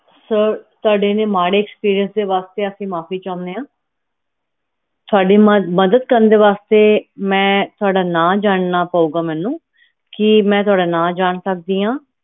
sir ਤੁਹਾਡੇ ਹਨ ਮਾੜੇ experience ਵਾਸਤੇ ਅਸੀਂ ਮਾਫੀ ਚਹੁਣੇ ਆ ਤੁਹਾਡੀ ਮਦਦ ਕਰਨ ਦੇ ਵਾਸਤੇ ਮੈਂ ਤੁਹਾਡਾ ਨਾਮ ਜਾਨਣਾ ਪਾਊਗਾ ਮੈਨੂੰ ਕੀ ਮੈਂ ਤੁਹਾਡਾ ਨਾ ਜਾਂ ਸਕਦੀ ਆ